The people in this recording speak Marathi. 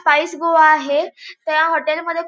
स्पाइस गोवा आहे. त्या हॉटेल मध्ये--